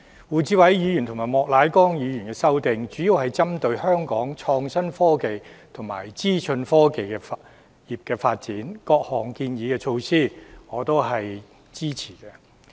胡志偉議員和莫乃光議員的修正案主要針對香港創新科技和資訊科技業的發展，各項建議措施我是支持的。